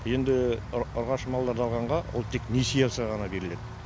енді ұрғашы малдарды алғанға ол тек несие алса ғана беріледі